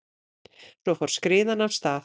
Svo fór skriðan af stað.